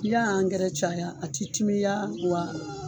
N'i y'a caya a ti timiya wa